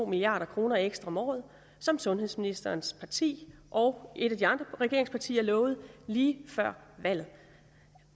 milliard kroner ekstra om året som sundhedsministerens parti og et af de andre regeringspartier lovede lige før valget